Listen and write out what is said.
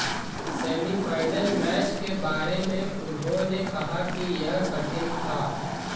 semifinal match के बारे में उन्होंने कहा कि यह कठिन था